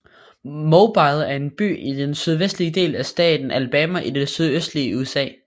Mobile er en by i den sydvestlige del af staten Alabama i det sydøstlige USA